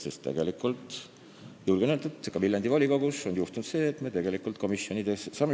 Julgen öelda, et ka Viljandi volikogus on juhtunud seda proportsioonide eiret tegelikult komisjonidesse liikmete nimetamisel ja nende kinnitamisel.